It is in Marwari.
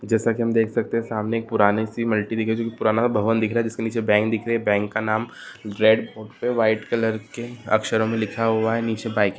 जेसा कि हम देख सामने एक पुराने पुराना सा भबन दिख रहा है जिसके नीचे बैंक दिख रहा है बैंक का नाम रेड बोर्ड पे व्हाइट कलर के अक्षरो में लिखा हुआ है नीचे बाइक --